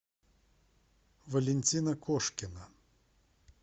валентина кошкина